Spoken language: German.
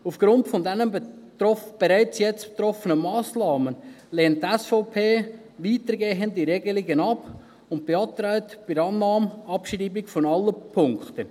Aufgrund dieser bereits jetzt getroffenen Massnahmen lehnt die SVP weitergehende Regelungen ab und beantragt bei der Annahme Abschreibung aller Punkte.